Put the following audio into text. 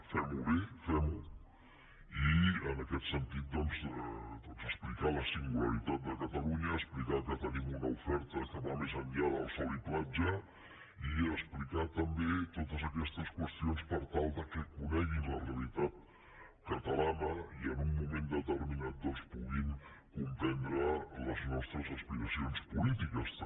fem ho bé fem ho i en aquest sentit doncs explicar la singularitat de catalunya expli car que tenim una oferta que va més enllà del sol i platja i explicar també totes aquestes qüestions per tal que coneguin la realitat catalana i en un moment determinat puguin comprendre les nostres aspiracions polítiques també